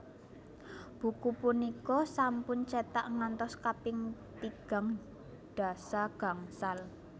Buku punika sampun cetak ngantos kaping tigang dasa gangsal